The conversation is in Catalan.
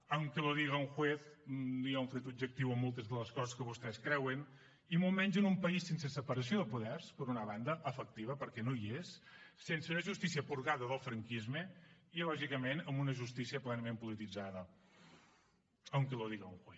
aunque lo diga un jueztes de les coses que vostès creuen i molt menys en un país sense separació de poders per una banda efectiva perquè no hi és sense una justícia purgada del franquisme i lògicament amb una justícia plenament polititzada aunque lo diga un juez